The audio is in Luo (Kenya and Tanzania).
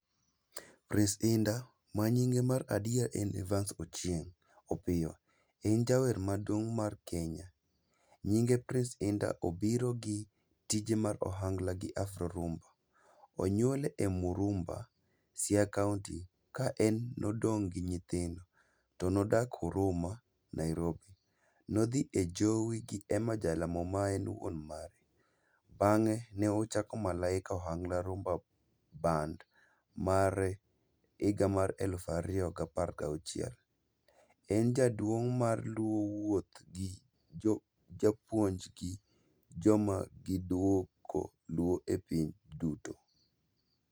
Prince Indah, ma nyinge mar adier en Evans Ochieng' Opiyo, en jawer maduong mar Kenya. Nyinge Prince Indah, obiro gi tije mag ohangla gi Afro Rhumba, Siaya County. Ka en nodong' gi nyithindo, to nodak Huruma, Nairobi. Nodhi e Jowi gi Emma Jalamo maen wuon mare, bang'e ne ochako Malaika Ohangla Rhumba band mare higa mar elufariyo gapar gauchiel. En jaduong mar Luo wuoth gi japuonj gi joma giduoko Luo e piny duto.